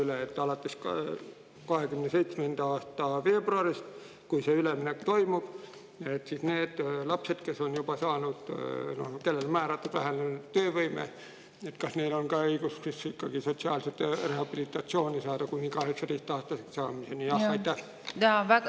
Kas alates 2027. aasta veebruarist, kui see üleminek toimub, on ka neil lastel, kes on juba saanud ehk kellele on määratud vähenenud töövõime, õigus ikkagi saada sotsiaalset rehabilitatsiooni kuni 18‑aastaseks saamiseni?